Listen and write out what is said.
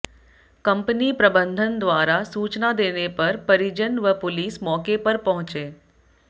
company प्रबंधन द्वारा सूचना देने पर परिजन व पुलिस मौके पर पहुंचे